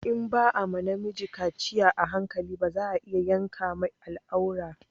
In ba a ma na miji kaciya a hankali ba za a iya yanka mai al'aura